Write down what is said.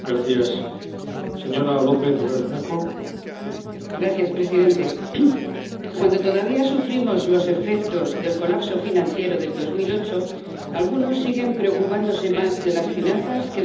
Señor Presidente, cuando todavía sufrimos los efectos del colapso financiero del 2008, algunos siguen preocupándose más de las finanzas que de los trabajadores.